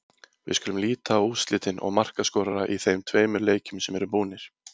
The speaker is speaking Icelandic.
Við skulum líta á úrslitin og markaskorara í þeim tveimur leikjum sem eru búnir.